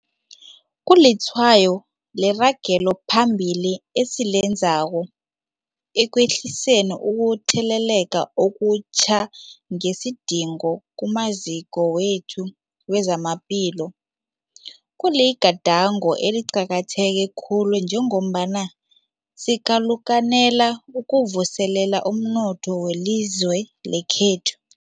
Kulitshwayo leragelo phambili esilenzako ekwehliseni ukutheleleka okutjha nesidingo kumaziko wethu wezamaphilo. Kuligadango eliqakatheke khulu njengombana sikalukanela ukuvuselela umnotho welizwe lekhethu.